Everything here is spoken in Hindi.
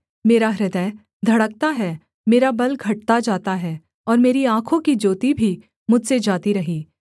मेरा हृदय धड़कता है मेरा बल घटता जाता है और मेरी आँखों की ज्योति भी मुझसे जाती रही